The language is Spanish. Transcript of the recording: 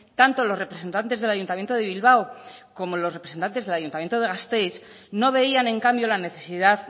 tanto los representantes del ayuntamiento de bilbao como los representantes del ayuntamiento de gasteiz no veían en cambio la necesidad